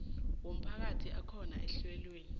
womphakathi akhona ehlelweni